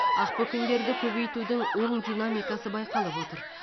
ақбөкендерді көбейтудің оң динамикасы байқалып отыр